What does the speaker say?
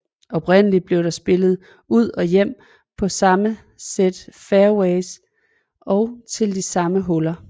Oprindeligt blev der spillet ud og hjem på det samme sæt fairways og til de samme huller